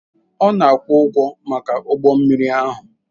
Ọ na-akwụ ụgwọ maka ụgbọ mmiri ahụ.